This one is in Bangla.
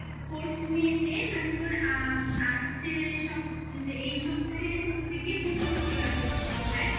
ওই fourth May তে মানে তোর আ আসছে সপ্তাহের এই সপ্তাহের হচ্ছে গিয়ে বৃহস্পতিবার পড়ছে বোধহয়